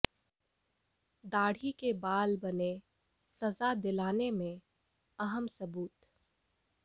दाढ़ी के बाल बने सजा दिलाने में अहम सुबूत